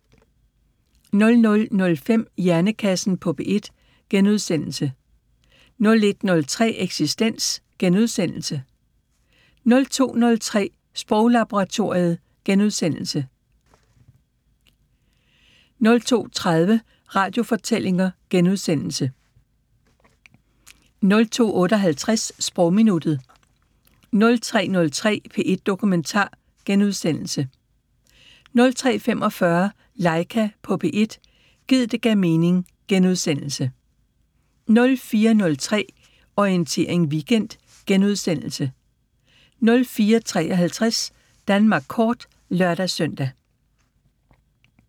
00:05: Hjernekassen på P1 * 01:03: Eksistens * 02:03: Sproglaboratoriet * 02:30: Radiofortællinger * 02:58: Sprogminuttet 03:03: P1 Dokumentar * 03:45: Laika på P1 – gid det gav mening * 04:03: Orientering Weekend * 04:53: Danmark kort (lør-søn)